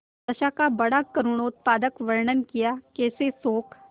दशा का बड़ा करूणोत्पादक वर्णन कियाकैसे शोक